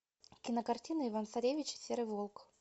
кинокартина иван царевич и серый волк